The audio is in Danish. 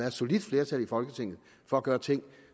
et solidt flertal i folketinget for at gøre ting